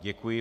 Děkuji.